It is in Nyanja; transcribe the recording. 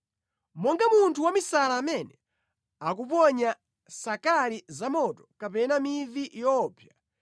Monga munthu wamisala amene akuponya sakali zamoto kapena mivi yoopsa,